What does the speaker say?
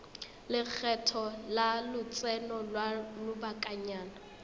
lekgetho la lotseno lwa lobakanyana